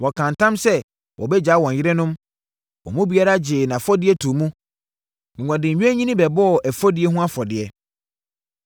Wɔkaa ntam sɛ wɔbɛgyaa wɔn yerenom, wɔn mu biara gyee nʼafɔdie too mu, na wɔde nnwennini bɛbɔɔ ɛfɔdie ho afɔdeɛ.